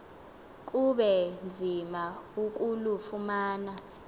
kube nzima ukulufumana